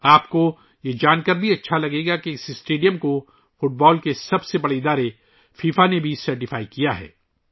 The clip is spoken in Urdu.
آپ کو یہ جان کر بھی خوشی ہو گی کہ اس اسٹیڈیم کو فٹ بال کی سب سے بڑی تنظیم فیفا نے بھی سرٹیفائی کیا ہے